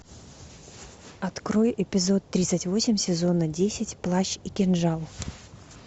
открой эпизод тридцать восемь сезона десять плащ и кинжал